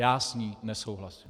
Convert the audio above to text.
Já s ní nesouhlasím.